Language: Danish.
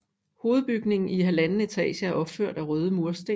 Hovedbygningen i 1½ etage er opført af røde mursten